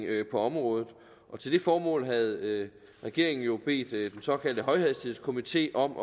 på området til det formål havde regeringen jo bedt den såkaldte højhastighedskomité om